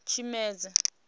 tshimedzi